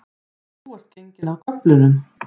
Þú ert genginn af göflunum